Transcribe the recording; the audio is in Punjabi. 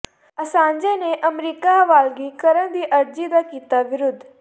ਅਸਾਂਜੇ ਨੇ ਅਮਰੀਕਾ ਹਵਾਲਗੀ ਕਰਨ ਦੀ ਅਰਜ਼ੀ ਦਾ ਕੀਤਾ ਵਿਰੋਧ